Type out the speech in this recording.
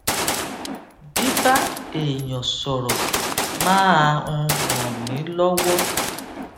bíbá èèyàn sòrò máa n ràn mí lówó